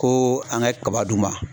Ko an ka kaba d'u ma.